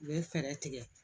U bɛ fɛɛrɛ tigɛ